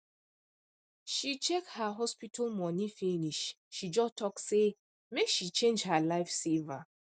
she check her hospital money finish she just talk say make she change her life saver